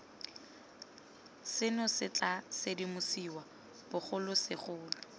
seno se tla sedimosiwa bogolosegolo